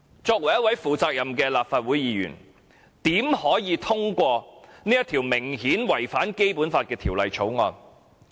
作為一位負責任的立法會議員，我們怎可以通過這項顯然違反《基本法》的《條例草案》？